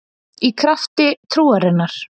Í krafti trúarinnar